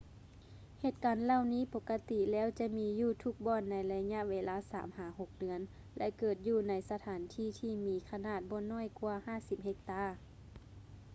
ເຫດການເຫຼົ່ານີ້ປົກກະຕິແລ້ວຈະມີຢູ່ທຸກບ່ອນໃນໄລຍະເວລາສາມຫາຫົກເດືອນ ແລະ ເກີດຢູ່ໃນສະຖານທີ່ທີ່ມີຂະໜາດບໍ່ນ້ອຍກວ່າ 50 ເຮັກຕາ